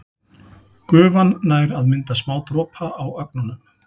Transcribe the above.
Gufan nær að mynda smádropa á ögnunum.